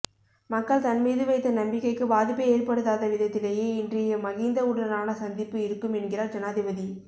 மக்கள் தன் மீது வைத்த நம்பிக்கைக்கு பாதிப்பை ஏற்படுத்தாத விதத்திலேயே இன்றைய மகிந்தவுடனான சந்திப்பு இருக்கும் என்கிறார் ஜனாதிபதி